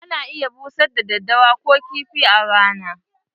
Ana busar da daddawa Ko kifi a rana.